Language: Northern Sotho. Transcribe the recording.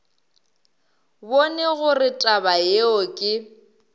bone gore taba yeo ke